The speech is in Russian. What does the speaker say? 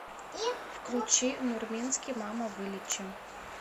включи нурминский мама вылечи